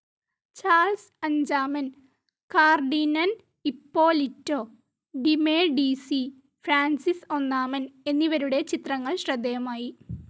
Charles അഞ്ചാമൻ, Cardinal Ippolito de Medici, Francis ഒന്നാമൻ എന്നിവരുടെ ചിത്രങ്ങൾ ശ്രദ്ധേയമായി.